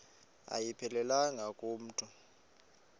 ayiphelelanga ku mntu